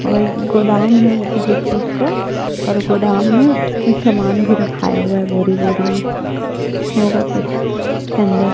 और ये गोदाम हैँ किसी चीज का और गोदाम मे समान भी रखाया हुआ हैं बोरी-बोरी मे होगा कुछ उसके अंदर--